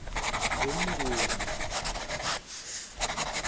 ngumnguni